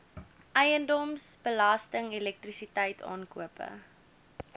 eiendomsbelasting elektrisiteit aankope